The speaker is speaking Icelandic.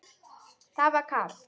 Það var kalt.